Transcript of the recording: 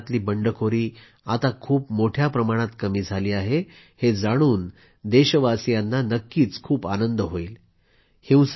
ईशान्य भागातली बंडखोरी आता खूप मोठ्या प्रमाणात कमी झाली आहे हे जाणून देशवासियांना नक्कीच खूप आनंद होईल